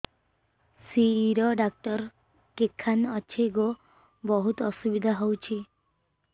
ଶିର doctor କେଖାନେ ଅଛେ ଗୋ ବହୁତ୍ ଅସୁବିଧା ହଉଚି